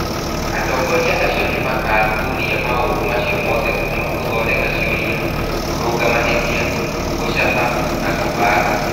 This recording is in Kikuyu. Atongoria acio nĩ makathuthuria maũndu macio mothe kuuma gũthondeka ciũria, kũrũnga mahĩtia, gũcaba na kũbanga.